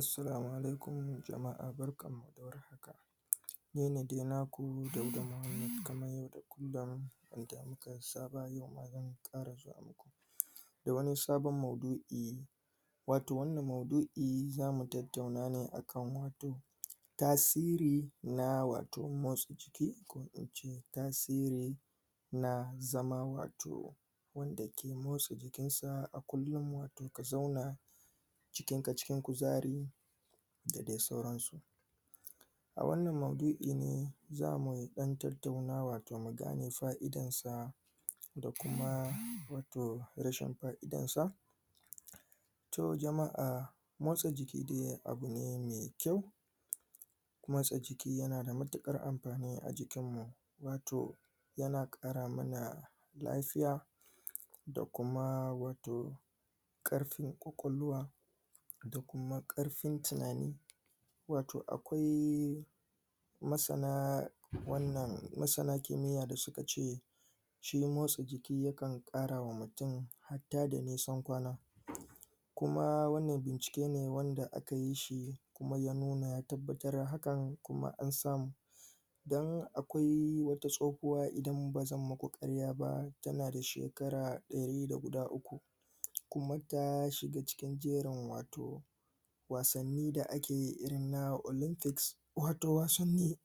Assalamu alaikum jama'a barkanmu da warhaka ni ne dai naku Dauda Muhammadu kamar yadda kullum da muka saba yau ma zan ƙara zuwa maku da wani sabon maudu'i wato wannan maudu'i za mu tattauna ne a kan wato tasiri na wato motsa jiki ko in ce tasiri na zama wato wanda ke motsa jikinsa a kullum wato ka zauna jikinka cikin kuzari da dai sauransu. A wannan maudu'i ne za mu ɗan tattauna wato mu gane fa'idansa da kuma wato rashin fa'idansa. To jama'a motsa jiki dai abu ne mai kyau Motsaka jiki yana da matuƙar amfani a jikinmu wato yana ƙara mana lafiya da kuma ƙarfin ƙwaƙwlwa da kuma ƙarfin tunani wato akwai masana wannan masana kimiyya da suka ce shi motsa jiki yakan ƙara wa mutum hatta da nisan kwana. Kuma wannan bincike ne aka yi shi. Kuma ya wannan bincike ne wanda aka yi shi kuma ya nuna ya tabbatar da hakan, kuma an samu. Don akwai wata tsohuwa idan ba zan muku ƙarya ba tana da shekara ɗari da guda uku. Kuma Ta shiga cikin jerin wato Wasnni da ake yi irin na olympic wato wasanni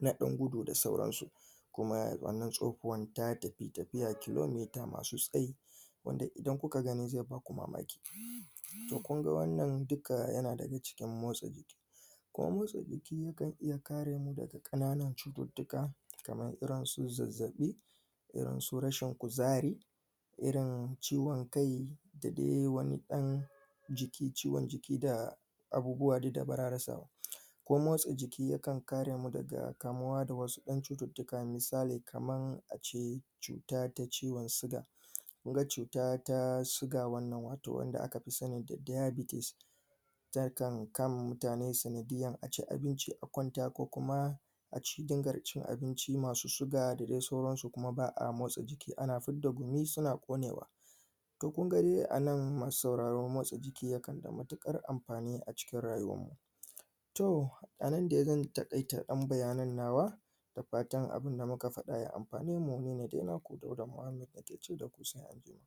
na ɗan gudu da sauransu. Kuma wannan tsohuwan ta tafi tafiya kilometer masu tsayi. wanda idan kuka gani zai ba ku mamaki. to kun ga wannan dukka yana cikin motsa jiki Kuma motsa jiki kan iya kare mu daga ƙananun cututtuka kamar irinsu zazzaɓi Irinsu rashin kuzari, irin ciwon kai da dai wani ɗan jiki ciwon jiki da abubuwa dai da ba za a rasa ba. Kuma motsa jikin yakan kare mu daga kamuwa daga wasu ƴan cututtuka misali kamar kamar a ce cuta ta ciwon siga. Mun ga cuta ta ciwon siga wannan wanda aka fi sani da diabetes Takan kama mutane sanadiyyar a ci abinci a kwanta ko kuma a ci tawagar cin abinci masu siga da da dai sauransu ba a motsa jiki ana fidda gumi suna ƙonewa. To kun ga ni a nan masu sauraro motsa jiki yana da matuƙar amfani a cikin rayuwarmu. To a nan zan taƙaita ɗan bayanin nawa. Dafatan abinda muka faɗa ya amfane mu ni ne dai naku Dauda Muhammad na ke ce da ku salama alaikum